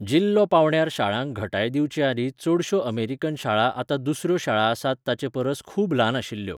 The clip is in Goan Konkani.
जिल्लो पावंड्यार शाळांक घटाय दिवचेआदीं चडश्यो अमेरिकन शाळा आतां दुसऱ्यो शाळा आसात ताचेपरस खूब ल्हान आशिल्ल्यो.